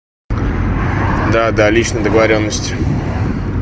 да да личной договорённостью